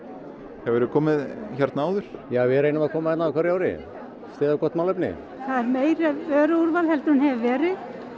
hefurðu komið áður við reynum að koma á hverju ári og styðja gott málefni það er meira vöruúrval en hefur verið